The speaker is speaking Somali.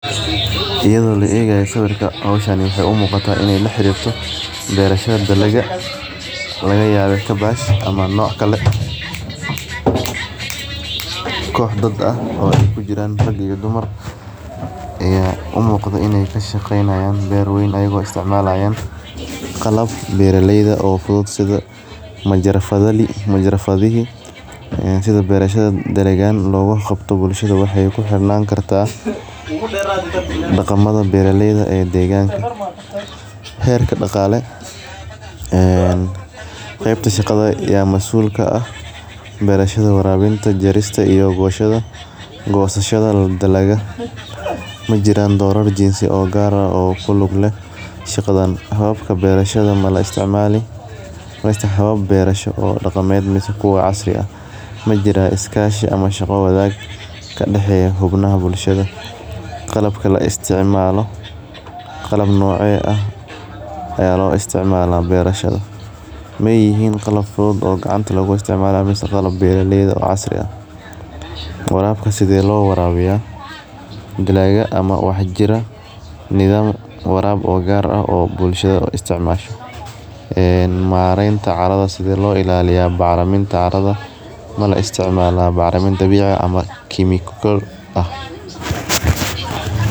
Iyada oo laegaya sawirka hoshan waxee u muqataa in ee laxarirto beerashada dalagyaada laga yaba ama noc kale oo iskugu jiran rag iyo dumar aya umuqdaa in ee kashaqeynayan ber weyn iyaga oo istcmalayan qalabka beera leyda sitha majarafka sitha beerashada dalagan logu qabto bulshaada waxee ku xirnan kartaa daqamada beera leyda ee deganaka, beerista danka shaqale gosashada dalagyada majiran dorar gar ah oo kulug leh shaqadan hafka berashadan maxa istimala beerashaada habka daqanka majiraa iskashi ama shaqa wanag kadaxeya bulshaada qalabka laisticmalo, medicine qalab fudud ee gacanta lagu istimala mase waa qalab beera leyda oo casri ah waxabka se lo warabiya, marenta caradha sithe lo ilaliya bacriminta catadha mala isticmala bacriminta ama kimikatha ah.